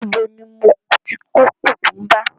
Níbo ni mo ti kó kùkúḿbà?